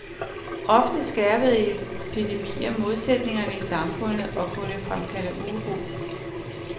Ofte skærpede epidemier modsætningerne i samfundet og kunne fremkalde uro.